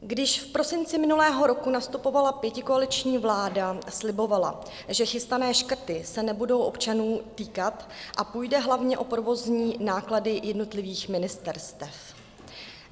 Když v prosinci minulého roku nastupovala pětikoaliční vláda, slibovala, že chystané škrty se nebudou občanů týkat a půjde hlavně o provozní náklady jednotlivých ministerstev.